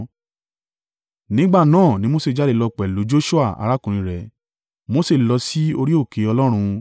Nígbà náà ni Mose jáde lọ pẹ̀lú Joṣua arákùnrin rẹ̀. Mose lọ sí orí òkè Ọlọ́run.